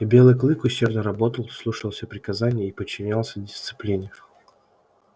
и белый клык усердно работал слушался приказаний и подчинялся дисциплине